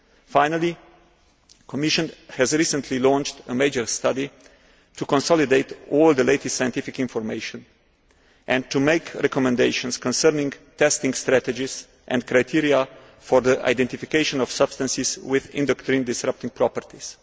Finally, the Commission has recently launched a major study to consolidate all the latest scientific information and to make recommendations concerning testing strategies and criteria for the identification of substances with endocrine disrupting properties.